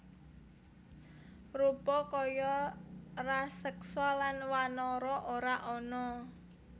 Rupa kaya raseksa lan wanara ora ana